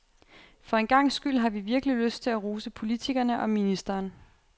For en gangs skyld har vi virkelig lyst til at rose politikerne og ministeren.